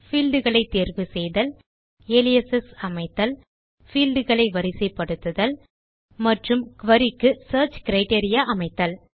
field களை தேர்வு செய்தல் அலியாசஸ் அமைத்தல் பீல்ட் களை வரிசைப்படுத்துதல் மற்றும் குரி க்கு சியர்ச் கிரைட்டீரியா அமைத்தல்